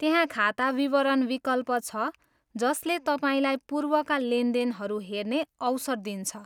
त्यहाँ खाता विवरण विकल्प छ, जसले तपाईँलाई पूर्वका लेनदेनहरू हेर्ने अवसर दिन्छ।